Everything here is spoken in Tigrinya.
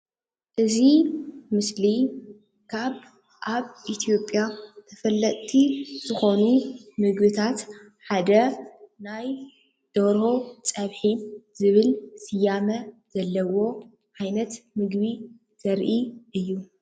እዚ ምስሊ ካብ አብ ኢትዮጵያ ተፈለጥቲ ዝኮኑ ምግብታት ሓደ ናይ ደርሆ ፀብሒ ዝብል ስያመ ዘለዎ ዓይነት ምግቢ ዘርኢ እዩ ።